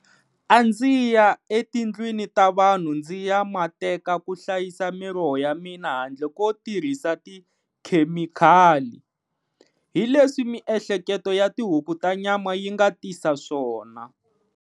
A ndzi ya etindlwini ta vanhu ndzi ya ma teka ku hlayisa miroho ya mina handle ko tirhisa tikhemikali. Hi leswi miehleketo ya tihuku ta nyama yi nga tisa swona.